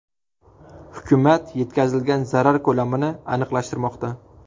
Hukumat yetkazilgan zarar ko‘lamini aniqlashtirmoqda.